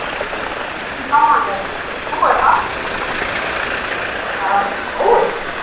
Jóhannes: Nú er afsláttur á þessu, er þetta að rjúka út?